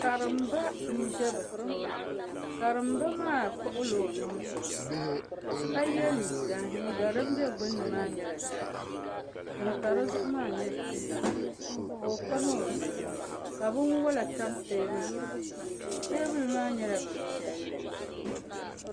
karimba n bɛ bi tooni karimba maa kpuɣila o nuhi zuɣusaa ka yɛ liiga liiga din bɛ gbunni maa nyɛla zaɣ ʒiɛ din pa dizuɣu maa nyɛ zaɣ sabinli ka o pam o zuɣu ka binwola tam teebuli maa zuɣu teebuli maa nyɛla bin piɛlli